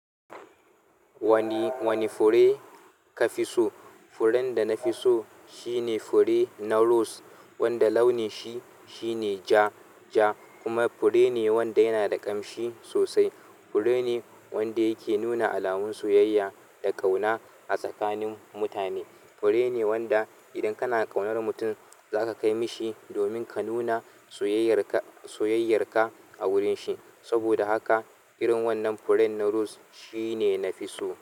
Wani, wani fure ka fi so? Furen da nafi so shine na ros wanda launin shi shine ja kuma fure ne wanda yana da ƙanshi sosai. Fure ne wanda yake nuna alamun soyayya da ƙauna a tsakanin mutane. Fure ne wanda idan kana ƙaunar mutum za ka kai mishi domin ka nuna soyayyar ka, soyayyar ka a wurin shi. Saboda haka irin wannan furen na rose shine na fi so.